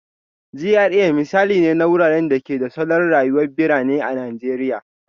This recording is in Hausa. GRA misali ne na wuraren da ke da salon rayuwar birane a Najeriya